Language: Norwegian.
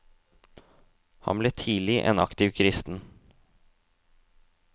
Han ble tidlig en aktiv kristen.